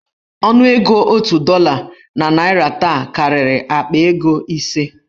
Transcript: Ọnụego otu dọla na naịra taa karịrị akpa ego ise.